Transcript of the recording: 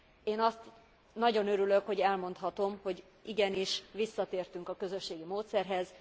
Én nagyon örülök, hogy elmondhatom, hogy igenis visszatértünk a közösségi módszerhez.